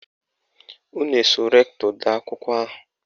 Unu eso rektọ dee akwụkwọ ahụ?